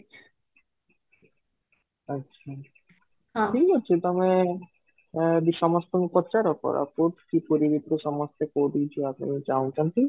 ଆଚ୍ଛା ହଁ ଠିକ ଅଛି ତୋମେ ଆଁ ବି ସମସ୍ତଙ୍କୁ ପଚାର କୋରାପୁଟ କି ପୁରୀ ଭିତରୁ ସମସ୍ତେ କୋଉଠିକି ଯିବା ପାଇଁ ଚାହୁଁଛନ୍ତି